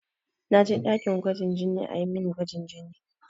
Na je ɗakin gwajin jini a yi min gwajin jini.